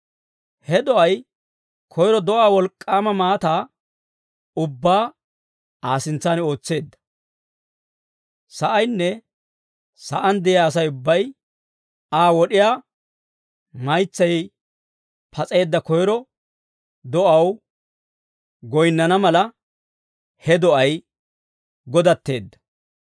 He do'ay koyro do'aa wolk'k'aama maataa ubbaa Aa sintsan ootseedda. Sa'aynne sa'aan de'iyaa Asay ubbay Aa wod'iyaa maytsay pas'eedda koyro do'aw goyinnana mala, he do'ay godatteedda.